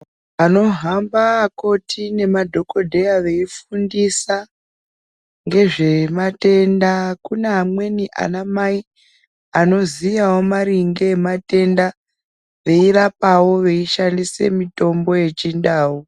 Anohamba akoti nemadhokodheya veifundisa, ngezvematenda kune amweni anamai anoziyawo maringe ematenda veirapawo veishandise mitombo yechindau.